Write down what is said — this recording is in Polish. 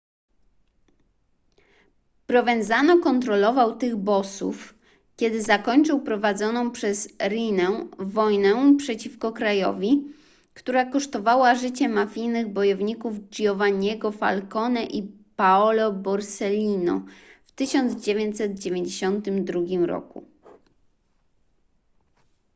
provenzano kontrolował tych bossów kiedy zakończył prowadzoną przez riinę wojnę przeciwko krajowi która kosztowała życie mafijnych bojowników giovanniego falcone i paolo borsellino w 1992 roku